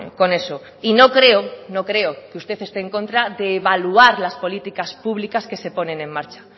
con eso y no creo no creo que usted esté en contra de evaluar las políticas públicas que se ponen en marcha